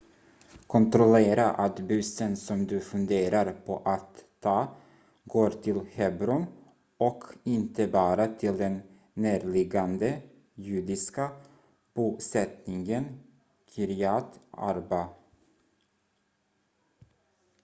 kontrollera att bussen som du funderar på att ta går till hebron och inte bara till den närliggande judiska bosättningen kiryat arba